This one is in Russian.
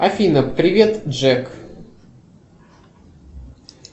афина привет джек